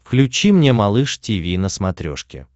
включи мне малыш тиви на смотрешке